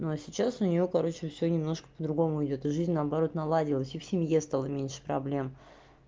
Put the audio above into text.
но а сейчас у неё короче все немножко по-другому идёт и жизнь наоборот наладилась и в семье стало меньше проблем